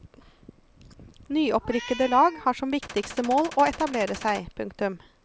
Nyopprykkede lag har som viktigste mål å etablere seg. punktum